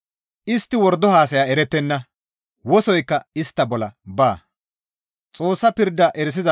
Istti wordo haasaya erettenna; wosoykka istta bolla baa.